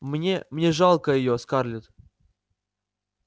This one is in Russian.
мне мне жалко её скарлетт